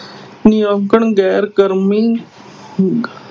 ਗੈਰ ਕਰਮੀ